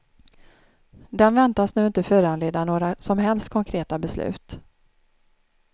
Den väntas nu inte föranleda några som helst konkreta beslut.